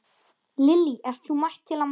Lillý: Ert þú mætt til að mótmæla?